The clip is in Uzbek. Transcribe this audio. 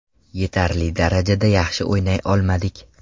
Yetarli darajada yaxshi o‘ynay olmadik.